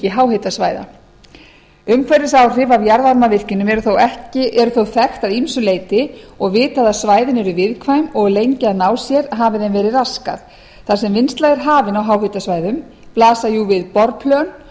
háhitasvæða umhverfisáhrif af jarðvarmavirkjunum eru þó þekkt að ýmsu leyti og vitað að svæðin eru viðkvæm og lengi að ná sér hafi þeim verið raskað þar sem vinnsla er hafin á háhitasvæðum blasa jú við borplön